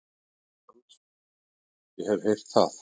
LANDSHÖFÐINGI: Ég hef heyrt það.